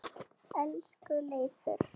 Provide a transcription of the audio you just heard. Elsku Leifur.